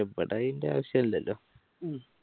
ഇവിടെ അതിൻറെ ആവശ്യല്ലല്ലോ